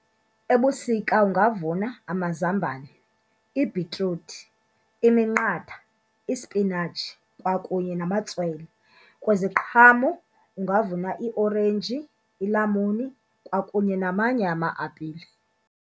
Ebusika ungavuna amazambane, ibhitruthi, iminqatha, ispinatshi kwakunye namatswele. Kweziqhamo ungavuna iorenji, ilamuni kwakunye namanye ama-apile.